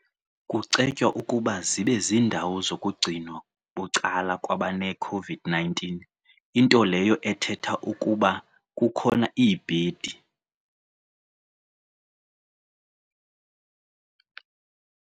Kucetywa ukuba zibe ziindawo zokugcinwa bucala kwabaneCOVID-19, into leyo ethetha ukuba kukhona iibhedi.